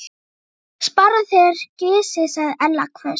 Sparaðu þér gysið sagði Ella hvöss.